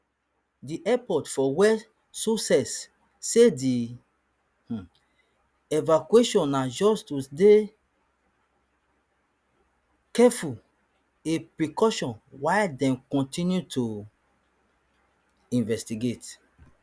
di airport for west sussex say di um evacuation na just to dey careful a precaution while dem continue to um investigate